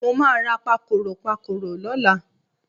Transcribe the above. Mo máa ra pakòròpakòrò lọ́la.